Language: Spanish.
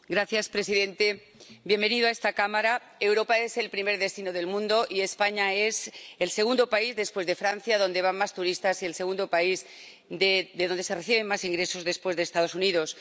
Señor presidente, señor presidente Sánchez, bienvenido a esta Cámara. Europa es el primer destino del mundo y España es el segundo país, después de Francia, donde van más turistas y el segundo país de donde se reciben más ingresos, después de Estados Unidos.